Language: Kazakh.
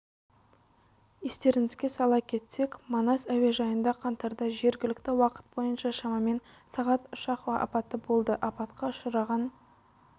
естеріңізге сала кетсек манас әуежайында қаңтарда жергілікті уақыт бойынша шамамен сағат ұшақ апаты болды апатқа ұшыраған